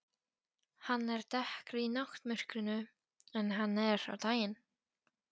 Hann er dekkri í náttmyrkrinu en hann er á daginn.